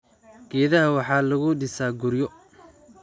Geedaha waxaa lagu dhisaa guryo.